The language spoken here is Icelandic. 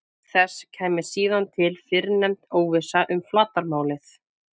Auk þess kæmi síðan til fyrrnefnd óvissa um flatarmálið.